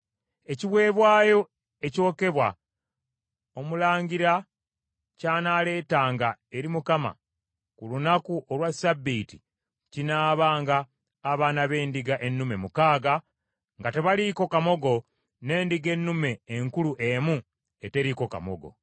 Ekiweebwayo ekyokebwa omulangira ky’anaaleetanga eri Mukama ku lunaku olwa Ssabbiiti kinaabanga abaana b’endiga ennume mukaaga nga tebaliiko kamogo n’endiga ennume enkulu emu eteriiko kamogo;